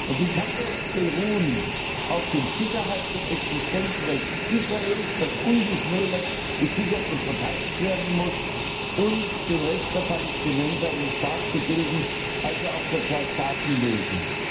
Und die kann nur auf dem Sicherheits und Existenzrecht Israels beruhen, das ungeschmälert gesichert und verteidigt werden muss, und dem Recht der Palästinenser, einen Staat zu bilden also auf der Zwei Staaten Lösung.